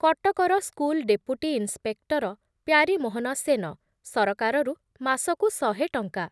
କଟକର school deputy inspector Pyarimohan Sen ସରକାରରୁ ମାସକୁ ଶହେ ଟଙ୍କା